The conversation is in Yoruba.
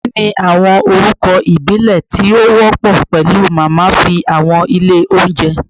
Kini awọn orukọ ibile ti o wọpọ pẹlu Mama fi awọn ile ounjẹ?